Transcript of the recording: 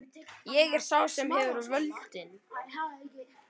Ég er sá sem hefur völdin.